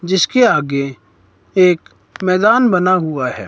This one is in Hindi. जिसके आगे एक मैदान बना हुआ है।